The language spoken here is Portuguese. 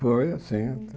Foi, sim.